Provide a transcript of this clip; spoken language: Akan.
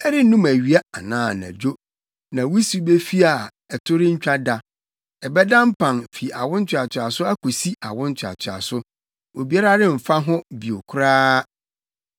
Ɛrennum awia anaa anadwo; ne wusiw befi a ɛto rentwa da. Ɛbɛda mpan fi awo ntoatoaso akosi awo ntoatoaso; obiara remfa ho bio koraa.